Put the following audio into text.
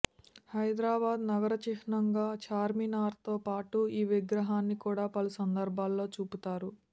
హైదరాబాదు నగర చిహ్నంగా చార్్మినార్తో పాటు ఈ విగ్రహాన్ని కూడా పలు సందర్భాలలో చూపుతారు